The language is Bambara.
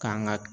K'an ka